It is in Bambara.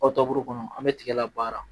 Aw taburu kɔnɔ an bɛ tigɛ la baara